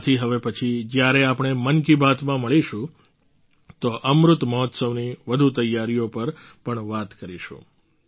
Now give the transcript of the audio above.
આથી હવે પછી જ્યારે આપણે મન કી બાતમાં મળીશું તો અમૃત મહોત્સવની વધુ તૈયારીઓ પર પણ વાત કરીશું